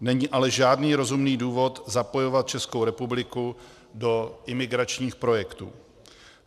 Není ale žádný rozumný důvod zapojovat Českou republiku do imigračních projektů.